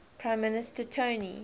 prime minister tony